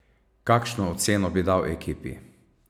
Kakšno oceno bi dal ekipi?